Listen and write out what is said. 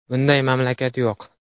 Bunday mamlakat yo‘q.